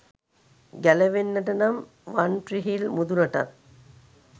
ගැලවෙන්නට නම් වන්ට්‍රීහිල් මුදුනටත්